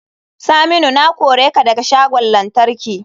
Saminu na kore ka daga shagon lantarki.